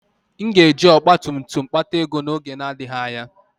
M ga-eji ọgba tum tum m kpata ego n'oge na-adịghị anya.